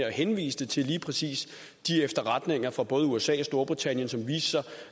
og henviste til lige præcis de efterretninger fra både usa og storbritannien som viste sig